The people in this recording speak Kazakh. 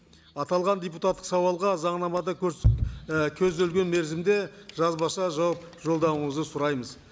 аталған депутаттық сауалға заңнамада і көзделген мерзімде жазбаша жауап жолдауыңызды сұраймыз